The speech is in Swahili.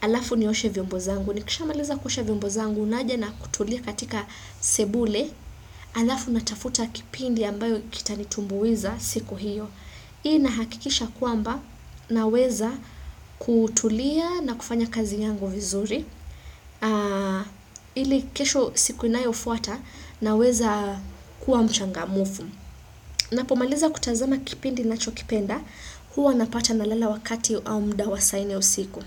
alafu ni oshe vyombo zangu. Nikishamaliza kuosha vyombo zangu naja na kutulia katika sebule. Alafu natafuta kipindi ambayo kita nitumbuiza siku hiyo. Hii ina hakikisha kwamba ninaweza kutulia na kufanya kazi yangu vizuri ili kesho siku inayo fuata na weza kuwa mchanga mufu. Ninaapomaliza kutazama kipendi ninachokipenda huwa napata na lala wakati au muda wa saa nne ya usiku.